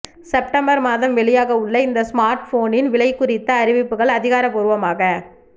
September மாதம் வெளியாக உள்ள இந்த ஸ்மார்ட்ஃபோனின் விலை குறித்த அறிவிப்புகள் அதிகாரப்பூர்வமாக